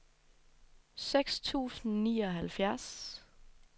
seksten tusind og nioghalvfjerds